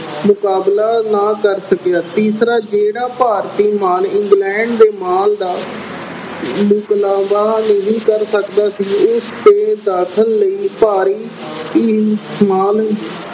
ਮੁਕਾਬਲਾ ਨਾ ਕਰ ਸਕਿਆ। ਤੀਸਰਾ ਜਿਹੜਾ ਭਾਰਤੀ ਮਾਲ England ਦੇ ਮਾਲ ਦਾ ਮੁਕਾਬਲਾ ਅਹ ਨਹੀਂ ਕਰ ਸਕਦਾ ਸੀ, ਉਸ ਦੇ ਦਖਲ ਲਈ ਭਾਰੀ